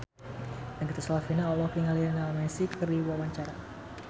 Nagita Slavina olohok ningali Lionel Messi keur diwawancara